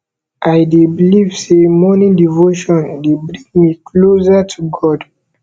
i dey believe say morning devotion dey bring me closer to god